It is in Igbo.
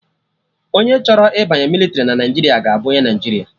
Onye chọrọ ịbanye mịlịtrị na Naijiria ga-abụ onye Naijiria